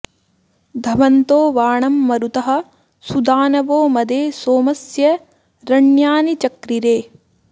धम॑न्तो वा॒णं म॒रुतः॑ सु॒दान॑वो॒ मदे॒ सोम॑स्य॒ रण्या॑नि चक्रिरे